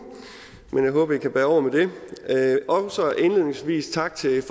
men jeg håber at i kan bære over med det og så indledningsvis tak til